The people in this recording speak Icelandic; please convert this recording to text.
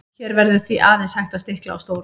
hér verður því aðeins hægt að stikla á stóru